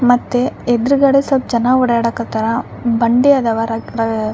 ಮತ್ತೆ ಎದ್ರುಗಡೆ ಸ್ವಲ್ಪ ಜನ ಓಡಾಡ ಕತರ ಬಂಡಿ ಅದವ ರಾಕ್ ರಾ --